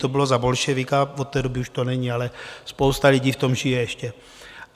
To bylo za bolševika, od té doby už to není, ale spousta lidí v tom žije ještě.